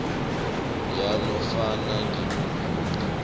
yanofana ngimuphi omunye